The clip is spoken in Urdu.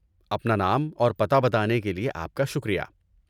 اپنا نام اور پتہ بتانے کے لیے آپ کا شکریہ۔